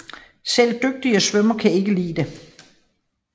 Selv dygtige svømmere kan ikke klare det